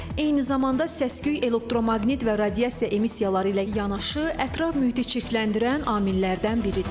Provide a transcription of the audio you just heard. Eyni zamanda səs-küy elektromaqnit və radiasiya emissiyaları ilə yanaşı ətraf mühiti çirkləndirən amillərdən biridir.